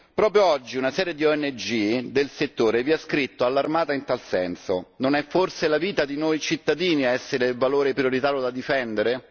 Proprio oggi una serie di ONG del settore ha scritto allarmata in tal senso Non è forse la vita di noi cittadini ad essere il valore prioritario da difendere?